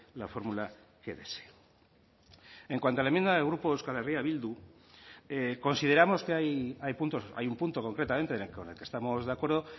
la fórmula que desee en cuanto a la enmienda del grupo euskal herria bildu consideramos que hay puntos hay un punto concretamente con el que estamos de acuerdo